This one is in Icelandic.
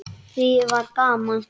Það var gaman.